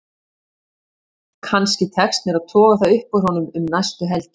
Kannski tekst mér að toga það upp úr honum um næstu helgi.